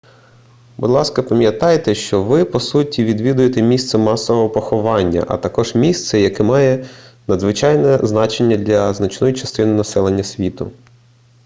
будь ласка пам'ятайте що ви по суті відвідуєте місце масового поховання а також місце яке має надзвичайне значення для значної частини населення світу